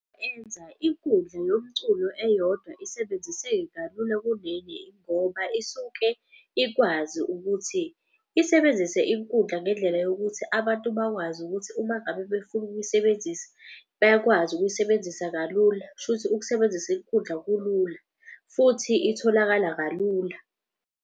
Enza inkundla yomculo eyodwa isebenziseke kalula kuleli ngoba isuke ikwazi ukuthi isebenzise inkundla. Ngendlela yokuthi abantu bakwazi ukuthi uma ngabe befuna ukuyisebenzisa bayakwazi ukuyisebenzisa kalula. Kushuthi ukusebenzisa izikhundla kulula futhi itholakala kalula.